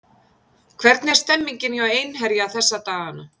Hvernig er stemningin hjá Einherja þessa dagana?